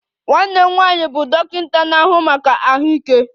Nwanne m nwanyị bụ dọkịta na-ahụ maka ahụike